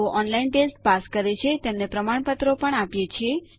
જેઓ online test pass કરે છે તેમને પ્રમાણપત્રો પણ આપીએ છીએ